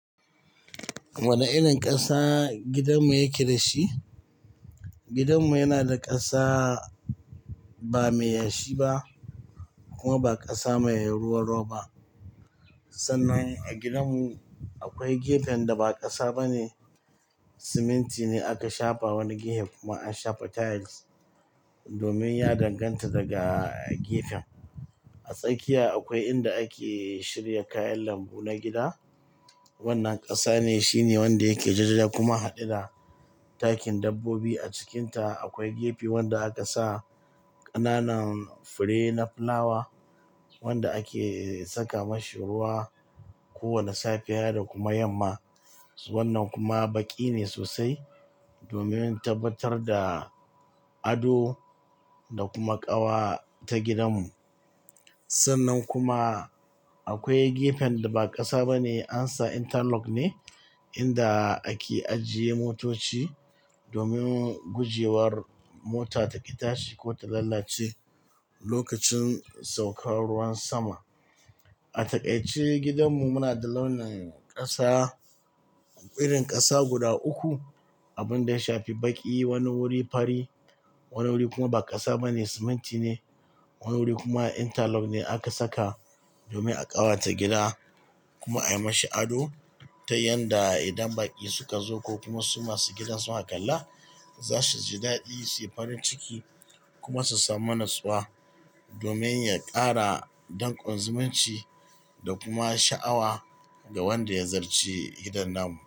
Wane irin ƙasa gidanmu yake da shi? Gidanmu yana da ƙasa ba mai yashi ba kuma ba ƙasa mai ruwa ro ba. Sannan a gidanmu akwai gefen da ba ƙasa ba ne, siminti ne aka shafa wani gefe kuma an shafa tiles domin ya danganta daga gefen. A tsakiya akwai inda ake shirya kayan lambu na gida. Wannan ƙasa ne, shine wanda yake jajaja kuma hadeda. Takin dabbobi a cikinta akwai gefe wanda aka sa ƙananan fure na fulawa wanda ake saka mashi ruwa kowane safiya da kuma yamma. Wannan kuma baƙi ne sosai domin tabbatar da ado da kuma ƙawa ta gidanmu. Sannan kuma akwai gefen da ba ƙasa ba ne, an sa interlock ne inda ake ajiye motoci domin guje war mota ta ƙi tashi ko ta lalace lokacin saukar ruwan sama. A taƙaice gidanmu muna da launin ƙasa, irin ƙasa guda uku. Abun da ya shafi baƙi, wani wuri fari, wani wuri kuma ba ƙasa ba ne, siminti ne. Wani wuri kuma interlock ne aka saka domin a ƙawata gida kuma ayi mashi ado ta yanda idan baƙi suka zo ko kuma su masu gidan su kakalla za su ji daɗi, su yi farin ciki kuma su samu natsuwa domin ya ƙara danƙon zumunci da kuma sha'awa ga wanda ya ziyarci gidan nan.